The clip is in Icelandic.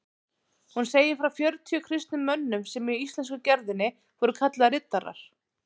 Hún segir frá fjörutíu kristnum mönnum sem í íslensku gerðinni voru kallaðir riddarar.